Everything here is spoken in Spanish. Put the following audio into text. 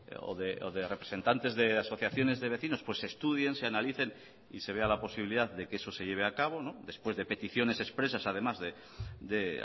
o de representantes de asociaciones de vecinos se estudien se analicen y se vea la posibilidad de que eso se lleve a cabo después de peticiones expresas además de